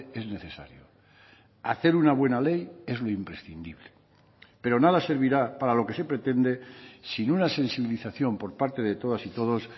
es necesario hacer una buena ley es lo imprescindible pero nada servirá para lo que se pretende sin una sensibilización por parte de todas y todos